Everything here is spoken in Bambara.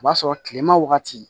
O b'a sɔrɔ kilema wagati